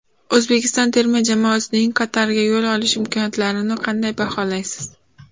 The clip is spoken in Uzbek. O‘zbekiston terma jamoasining Qatarga yo‘l olish imkoniyatlarini qanday baholaysiz.